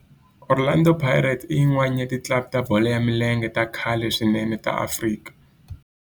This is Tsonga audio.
Orlando Pirates i yin'wana ya ti club ta bolo ya milenge ta khale swinene ta Afrika